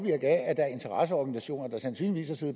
af at der er interesseorganisationer der sandsynligvis har